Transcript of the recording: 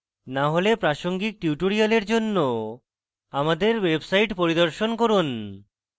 না হলে প্রাসঙ্গিক tutorial জন্য আমাদের website পরিদর্শন করুন